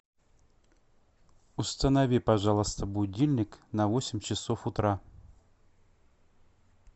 установи пожалуйста будильник на восемь часов утра